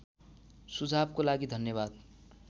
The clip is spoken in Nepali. सुझावको लागि धन्यवाद